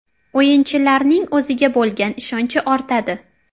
O‘yinchilarning o‘ziga bo‘lgan ishonchi ortadi.